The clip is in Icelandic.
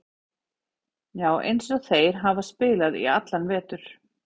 Já, eins og þeir hafa spilað í allan vetur.